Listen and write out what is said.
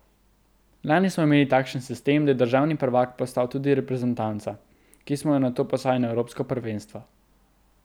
Lani smo imeli takšen sistem, da je državni prvak postal tudi reprezentanca, ki smo jo nato poslali na evropsko prvenstvo.